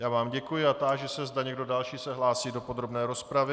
Já vám děkuji a táži se, zda někdo další se hlásí do podrobné rozpravy.